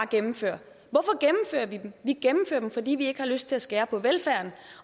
gennemfører vi dem vi gennemfører dem fordi vi ikke har lyst til at skære ned på velfærden